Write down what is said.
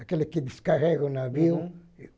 Aquele que descarrega o navio. Uhum